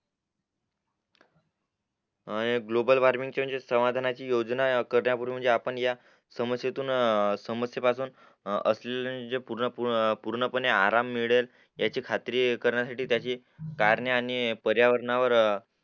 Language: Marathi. हे ग्लोबल वॉर्मिंग ची म्हणजे समाधानाची योजना त्या पूर्वी म्हणजे आपण या समस्येतून समस्ये पासून असलेले म्हणजे पूर्ण पने आराम मिळेल याची खात्री करण्या साठी त्याची करणे आणि पर्यावरणावर